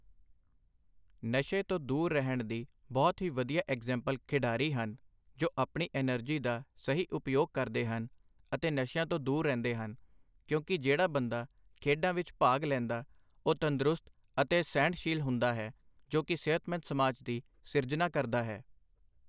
ਨਸ਼ੇ ਤੋਂ ਦੂਰ ਰਹਿਣ ਦੀ ਬਹੁਤ ਹੀ ਵਧੀਆ ਐਗਜ਼ਾਂਪਲ ਖਿਡਾਰੀ ਹਨ, ਜੋ ਆਪਣੀ ਅਨਰਜ਼ੀ ਦਾ ਸਹੀ ਉਪਯੋਗ ਕਰਦੇ ਹਨ ਅਤੇ ਨਸ਼ਿਆਂ ਤੋਂ ਦੂਰ ਰਹਿਦੇ ਹਨ, ਕਿਉਂਕਿ ਜਿਹੜਾ ਬੰਦਾ ਖੇਡਾਂ ਵਿਚ ਭਾਗ ਲੈਂਦਾ ਉਹ ਤੰਦਰੁਸਤ ਅਤੇ ਸਹਿਣਸੀਲ ਹੁੰਦਾ ਹੈ, ਜੋ ਕਿ ਸਿਹਤਮੰਦ ਸਮਾਜ ਦੀ ਸਿਰਜਨਾ ਕਰਦਾ ਹੈ।